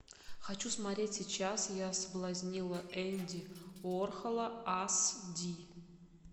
хочу смотреть сейчас я соблазнила энди уорхола ас ди